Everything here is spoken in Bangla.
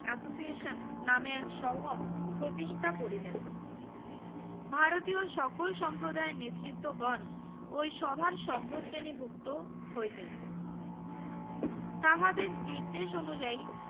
Association নামে এক সভা প্রতিষ্ঠা করিলেন ভারতীয় সকল সম্প্রদায়ের নেত্রীত গন ওই সভার সভ্য শ্রেণি ভুক্ত হইলেন তাহাদের দিদদেশ অনিযায়ী